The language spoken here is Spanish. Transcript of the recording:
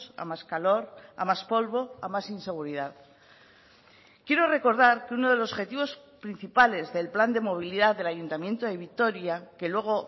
a más calor a más polvo a más inseguridad quiero recordar que uno de los objetivos principales del plan de movilidad del ayuntamiento de vitoria que luego